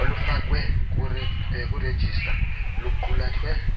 olufakwe kurejistra luqulathe